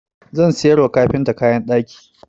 Zan sayar wa kafintar kayan ɗaki.